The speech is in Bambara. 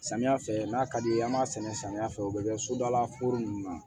Samiya fɛ n'a ka di ye an b'a sɛnɛ samiya fɛ o bɛ kɛ sodalaforo ninnu na